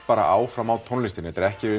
bara áfram á tónlistinni þetta er ekki